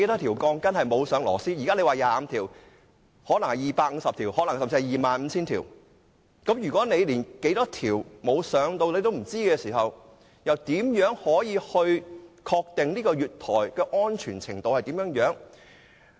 現在說是25條，但可能是250條，甚至是 25,000 條，如果不知道有多少條鋼筋沒有扭進螺絲帽，又如何可以確定月台的安全程度？